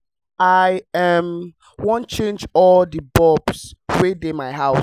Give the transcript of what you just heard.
i um wan change all the bulb wey dey my house